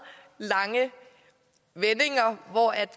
lange vendinger og